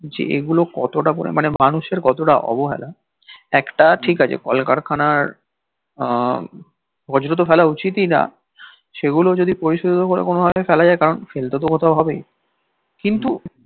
যে এ গুলো কতটা পরিমানে মানুষের কতটা অবহেলা একটা ঠিক আছে কলকারখানার আহ বর্জ তো ফেলা উচিতই না সে গুলো যদি পরিশোধিত করে কোনো ভাবে ফেলা যায় কারণ ফেলতে তো কোথাও হবেই কিন্তু